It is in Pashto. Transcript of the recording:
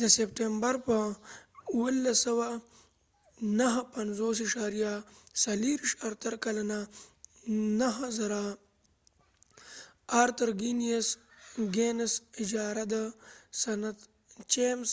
د سپتمبر په 24. 1759 ارتر ګینیسarthur guinness 9000 کلنه اجاره د سنت چېمز